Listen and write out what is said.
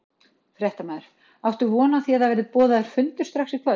Fréttamaður: Áttu von á því að það verði boðaður fundur strax í kvöld?